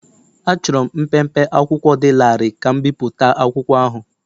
Achọrọ m mpempe akwụkwọ dị larịị ka m bipụta akwụkwọ ahụ.